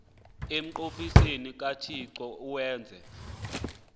emnqophisweni kathixo awenze